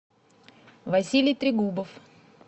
василий трегубов